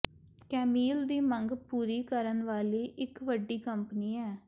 ਕੈਮੀਲ ਦੀ ਮੰਗ ਪੂਰੀ ਕਰਨ ਵਾਲੀ ਇੱਕ ਵੱਡੀ ਕੰਪਨੀ ਹੈ